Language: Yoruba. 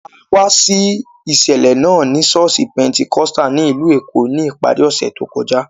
A wá sí ìṣẹ̀lẹ̀ náà ní ṣọ́ọ̀ṣì Pentecostal ní ìlú Èkó ní ìparí ọ̀sẹ̀ tó kọjá